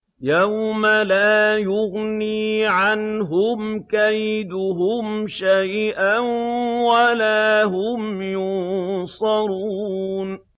يَوْمَ لَا يُغْنِي عَنْهُمْ كَيْدُهُمْ شَيْئًا وَلَا هُمْ يُنصَرُونَ